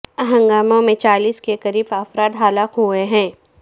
ہنگاموں میں چالیس کے قریب افراد ہلاک ہوئے ہیں